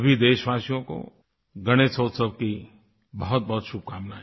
सभी देशवासियों को गणेशोत्सव की बहुतबहुत शुभकामनाएँ